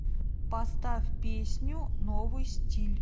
поставь песню новый стиль